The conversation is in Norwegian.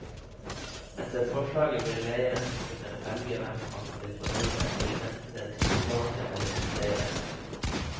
Etter forslaget vil leieren kunne velge hvem han vil forholde seg til, enten den tillitsvalgte eller utleieren.